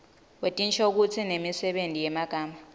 wetinshokutsi nemisebenti yemagama